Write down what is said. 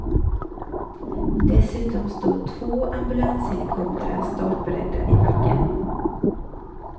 Dessutom stod två ambulanshelikoptrar startberedda i backen.